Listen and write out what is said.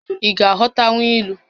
Ị ga-aghọtanwu ilu?